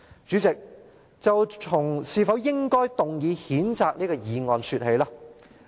主席，就從是否應該提出這項議案說起。